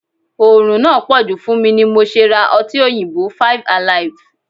Orun náà poju fún mi ni mo ṣe ra ọtí òyìnbó (five alive).